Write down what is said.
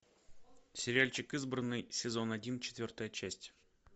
сериальчик избранный сезон один четвертая часть